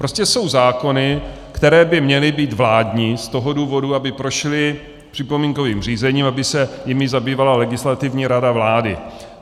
Prostě jsou zákony, které by měly být vládní z toho důvodu, aby prošly připomínkovým řízením, aby se jimi zabývala Legislativní rada vlády.